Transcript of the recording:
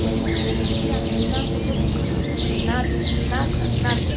Porque eu não entendia nada do que falavam, nada, nada, nada.